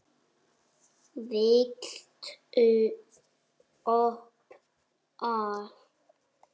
Viltu ópal?